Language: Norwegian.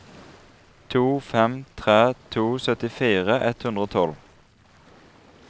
to fem tre to syttifire ett hundre og tolv